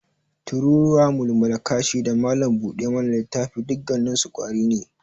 Tururuwa, mulmula kashi, da malam buda mana littafi dukkanninsu ƙwari ne.